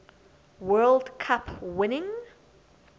world cup winning